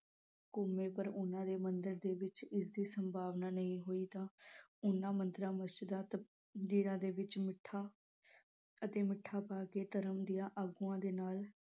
ਘੁੰਮੇ ਪਰ ਉਨ੍ਹਾਂ ਦੇ ਮੰਦਰ ਦੇ ਵਿਚ ਇਸਦੀ ਸੰਭਾਵਨਾ ਨਹੀ ਹੋਈ ਤਾਂ ਉਨ੍ਹਾਂ ਮੰਦਿਰਾਂ, ਮਸਜਿਦਾਂ ਦੇ ਵਿਚ ਮਿੱਠਾ ਅਤੇ ਮਿੱਠਾ ਪਾ ਕੇ ਧਰਮ ਦੇ ਆਗੂਆਂ ਦੇ ਨਾਲ